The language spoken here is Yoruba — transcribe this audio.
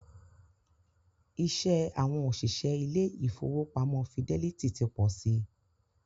Iṣẹ́ àwọn òṣìṣẹ́ ilé ìfọwọ́pamo Fidelity ti pọ si.